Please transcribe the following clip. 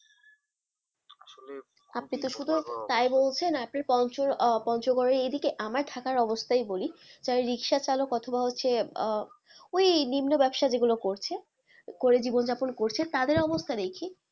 আপনি তো শুধু তাই বলছেন আপনার পঞ্চ আহ পঞ্চগড়ের এইদিকে আমার ঢাকার অবস্থায় বলি রিক্সাচালক অথবা হচ্ছে আহ ওই নিম্ন ব্যবসা যেগুলো করছে করে জীবনযাপন করছে তাদের অবস্থাটাই কি,